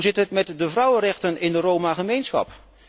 Hoe zit het met de vrouwenrechten in de Roma gemeenschap?